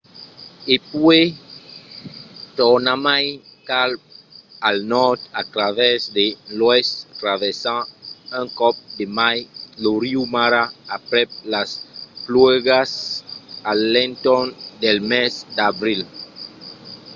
e puèi tornarmai cap al nòrd a travèrs de l'oèst traversant un còp de mai lo riu mara aprèp las pluèjas a l’entorn del mes d’abril